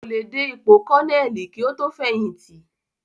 Kò le dé ipò kọ́nẹ̀lì kí ó tó fẹ̀yìntì